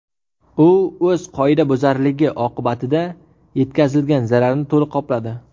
U o‘z qoidabuzarligi oqibatida yetkazilgan zararni to‘liq qopladi.